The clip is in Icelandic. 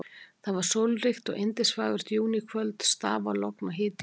Það var sólríkt og yndisfagurt júníkvöld, stafalogn og hiti í lofti.